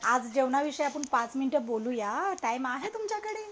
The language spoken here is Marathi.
आज जेवणाविषयी आपण पाच मिनिट बोलूया टाईम आहे तुमच्याकडे